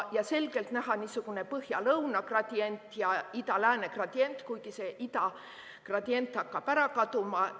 Selgelt on näha niisugune põhja–lõuna gradient ja ida–lääne gradient, kuigi see ida gradient hakkab ära kaduma.